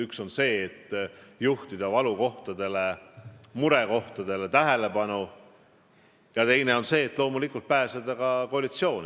Üks on see, et juhtida valukohtadele, murekohtadele tähelepanu, ja teine on see, et loomulikult pääseda koalitsiooni.